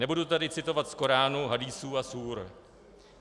Nebudu tady citovat z Koránu, hadísů a súr.